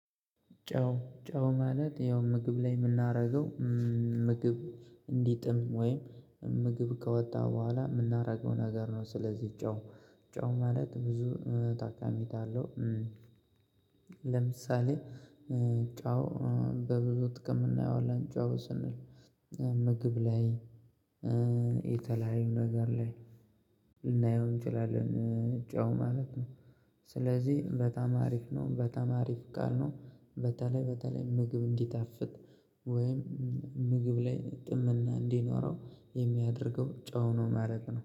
ጨው ጨው ማለት ያው ምግብ ላይ የምናረገው ምግብ እንዲጥም ወይም ምግብ ከወጣ በኋላ የምናደርገው ነገር ነው። ስለዚህ ጨው ጨው ማለት ብዙ ታካሚታለው ለምሳሌ ጨው በብዙ ጥቅም እናየዋለን ጨው ስንል ምግብ ላይ የተለያዩ ነገር ላይ ልናየው እንችላለን ጨው ማለት ነው። ስለዚህ በጣም አሪፍ ነው በጣም አሪፍ ቃል ነው። በተለይ በተለይ ምግብ እንዲታፍት ወይም ምግብ ላይ ጥምና እንዲኖረው የሚያደርገው ጨው ነው ማለት ነው